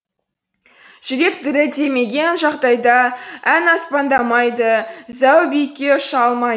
жүрек дірілдемеген жағдайда ән аспандамайды зәу биікке ұша алмайды